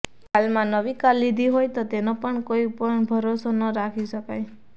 હાલમાં નવી કાર લીધી હોય તો તેનો પણ કોઈ ભરોસો ન રાખી શકાય